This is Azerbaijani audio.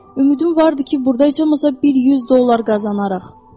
Ümidim vardı ki burda heç olmasa bir 100 dollar qazanarıq.